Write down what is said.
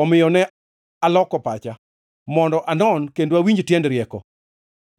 Omiyo ne aloko pacha mondo anon kendo awinj tiend rieko,